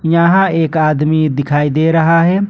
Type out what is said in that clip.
यहां एक आदमी दिखाई दे रहा है।